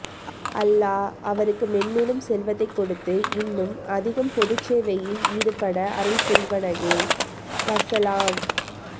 அல்லாஹ அவருக்கு மென்மேலும் செல்வத்தை கொடுத்து இன்னும் அதிகம் பொது சேவையில் ஈடுபடே அருள்புரிவனகே வஸ்ஸலாம்